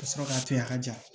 Ka sɔrɔ k'a to yen a ka ja